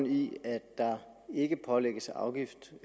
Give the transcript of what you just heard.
i at der ikke pålægges afgift